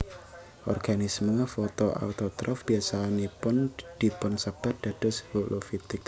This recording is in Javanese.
Organisme fotoautotrof biasanipun dipunsebat dados holofitik